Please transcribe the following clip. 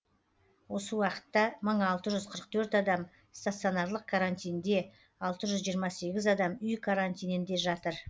осы уақытта мың алты жүз қырық төрт адам стационарлық карантинде алты жүз жиырма сегіз адам үй карантинінде жатыр